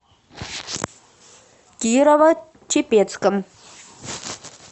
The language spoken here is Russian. кирово чепецком